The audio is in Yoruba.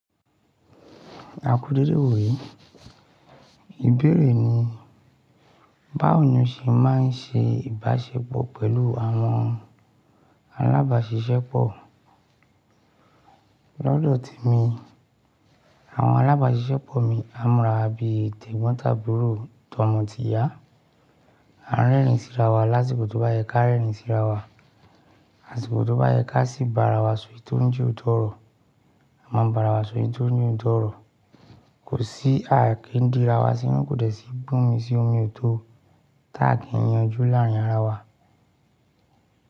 A kú dédé wò yé. Ìbéèrè ni, báwo ni o ṣe máa ń ṣe ìbáṣepọ̀ pẹ̀lú àwọn alábàáṣiṣẹ́ pọ̀? Lọ́dọ̀ ti mi, àwọn alábáṣiṣẹ́ pọ̀ mi á múra bí i tẹ̀gbọ́ntàbúrò tó mọ tí yá. A rẹ́rìn-ín síra wá lásìkò tó bá yẹ ká rẹ́rìn-ín síra wá. Àsìkò tó bá yẹ ká sì ba ara wa sọ ìtóún ju ìtọ́rọ̀. A máa ba ara wa sọ ìtóún ju ìtọ́rọ̀. Kò sí ààké ń dirawa sínú kò dẹ̀ sí gbómi sí omi ò tó. Táàkì yanju láàrin ara wa.